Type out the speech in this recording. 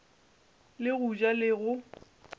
le go ja le go